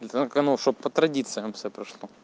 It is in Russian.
это канал чтобы по традициям всё прошло